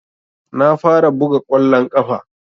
Na fara buga kwallon kafa